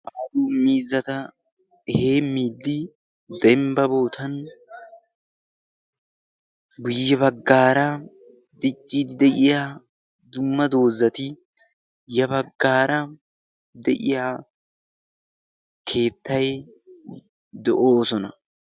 Miizata heemidi dembba bootan guyya baggaara dicciidi de'iya dumma doozzati ya baggaara de'iya keettai do'oosona.